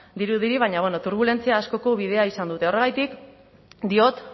dirudi baina turbulentzia askoko bidea izan dute horregatik diot